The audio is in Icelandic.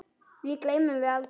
Því gleymum við aldrei.